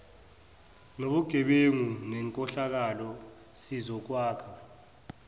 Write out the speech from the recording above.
nobugebengu nenkohlakalo sizokwakha